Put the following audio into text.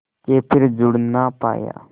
के फिर जुड़ ना पाया